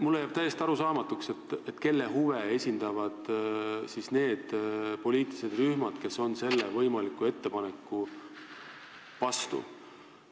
Mulle jääb täiesti arusaamatuks, kelle huve esindavad need poliitilised rühmad, kes on selle eelnõu vastu.